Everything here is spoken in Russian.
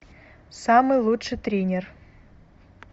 самый лучший тренер